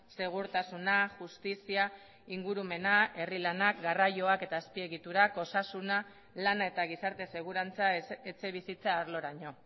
segurtasuna justizia ingurumena herri lanak garraioak eta azpiegiturak osasuna lana eta gizarte segurantza etxebizitza arloraino